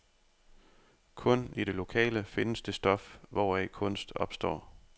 Kun i det lokale findes det stof, hvoraf kunst opstår.